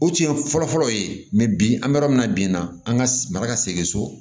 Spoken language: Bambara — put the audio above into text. O tun ye fɔlɔfɔlɔ ye bi an bɛ yɔrɔ min na bi na an ka mara ka segin so